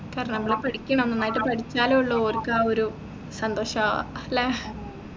കാരണം നമ്മൾ പഠിക്കണം നന്നായിട്ട് പഠിച്ചാലേ ഉള്ളു ഓർക്കാ ഒരു സന്തോഷാ അല്ലെ